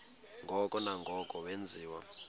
ngoko nangoko wenziwa